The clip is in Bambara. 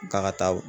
K'a ka taa